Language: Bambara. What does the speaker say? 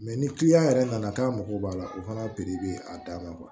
ni yɛrɛ nana k'a mago b'a la o fana bɛ a dan ma